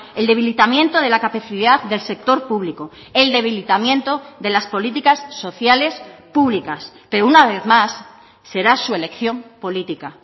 el debilitamiento de la capacidad del sector público el debilitamiento de las políticas sociales públicas pero una vez más será su elección política